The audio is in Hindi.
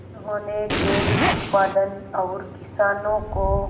उन्होंने डेयरी उत्पादन और किसानों को